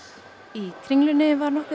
í Kringlunni var nokkur